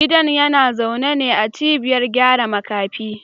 Gidan yana zaune ne a cibiyar gyara makafi